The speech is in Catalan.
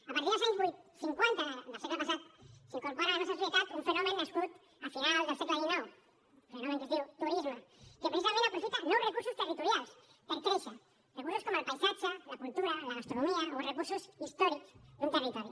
a partir dels anys cinquanta del segle passat s’incorpora a la nostra societat un fenomen nascut a finals del segle xix un fenomen que es diu turisme que precisament aprofita nous recursos territorials per créixer recursos com el paisatge la cultura la gastronomia o recursos històrics d’un territori